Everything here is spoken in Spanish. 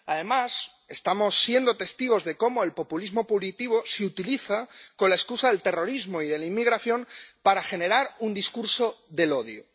Además, estamos siendo testigos de cómo el populismo punitivo se utiliza con la excusa del terrorismo y de la inmigración para generar un discurso del odio.